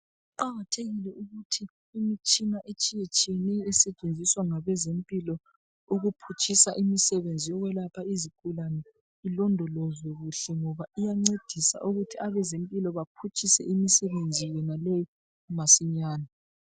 Kuqakathekile ukuthi imitshina etshiyetshiyeneyo esetshenziswa ngabezempilo ukuphutshisa imisebenzi yokwelapha izigulane ilondolweze kuhle, ngoba iyancedisa ukuthi abezempilo baphutshise imisebenzi yonaleyi masinyane.